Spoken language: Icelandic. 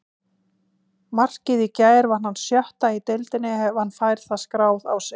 Markið í gær var hans sjötta í deildinni ef hann fær það skráð á sig.